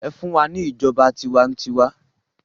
Ẹfun wa ni ijọba tiwantiwa!